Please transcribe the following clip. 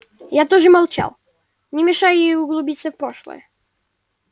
я тоже молчал не мешая ей углубиться в прошлое